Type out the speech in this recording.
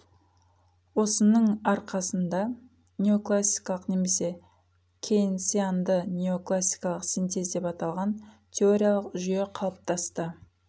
осының арқасында неоклассикалық немесе кейнсианды неокласикалық синтез деп аталған теориялық жүйе қалыптасты